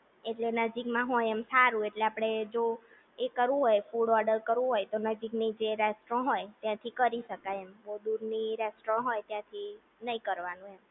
એટલે નજીકમાં હોય એમ હારું એટલે આપણે એ કરવું હોય ફૂડ ઓર્ડર કરવું હોય તો નજીકની જે રેસ્ટો હોય ત્યાંથી કરી શકાય બોવ દૂરની રેસ્ટો હોય ત્યાંથી નહિ કરવાનું એમ